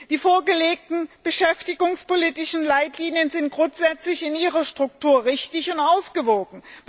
Die vorgelegten beschäftigungspolitischen Leitlinien sind grundsätzlich in ihrer Struktur richtig und ausgewogen.